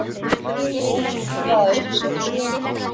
Hefur þú hugað að uppsögn?